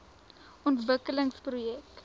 ontwikkelingsprojek